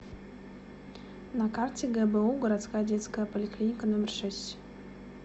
на карте гбу городская детская поликлиника номер шесть